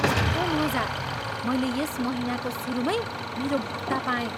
कस्तो मजा! मैले यस महिनाको सुरुमै मेरो भत्ता पाएँ!